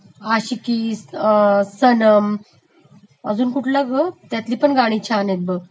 आशिकी, सनम, अजून दुसरा कुठला ग त्यातली पण गाणी छान आहेत बघ